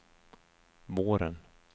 våren